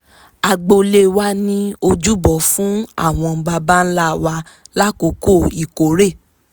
agboolé wa ní ojúbọ fún àwọn baba ǹlà wa lákokò ìkórè